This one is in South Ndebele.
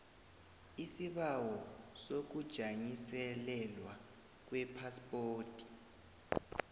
isibawo sokujanyiselelwa kwephaspoti